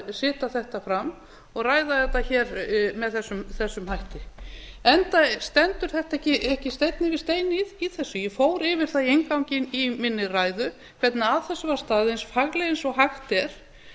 setja þetta fram og ræða þetta hér með þessum hætti enda stendur þetta ekki steinn yfir steini í þessu ég fór yfir það í inngangi í minni ræðu hvernig að þessu var staðið eins faglega og hægt er